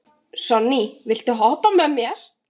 Sonný, viltu hoppa með mér?